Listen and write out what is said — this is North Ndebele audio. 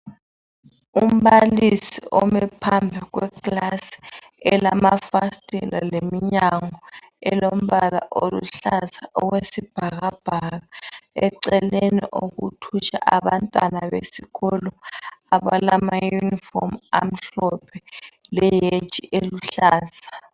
Umbalisi ume phambi kwekilasi elamafasithela lomnyango elombala owesibhakabhaka. Eceleni kuthutsha abantwana besikolo abamayunifomu amhlophe le haji oluhlaza.